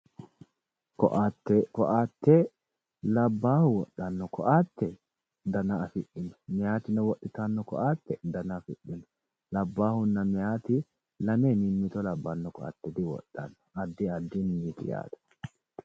Ko"atte labbaahi wodhanno ko"atte dana afidhino meyaatino wodhitanno ko"atte dana afidhino labbaahunna meyaati lame mimmito labbanno koa diwodhanno addi addinniiti yaate